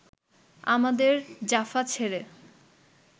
আমাদের জাফা ছেড়ে